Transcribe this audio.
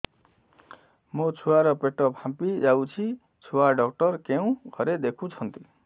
ମୋ ଛୁଆ ର ପେଟ ଫାମ୍ପି ଯାଉଛି ଛୁଆ ଡକ୍ଟର କେଉଁ ଘରେ ଦେଖୁ ଛନ୍ତି